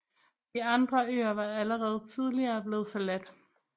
De andre øer var allerede tidligere blevet forladt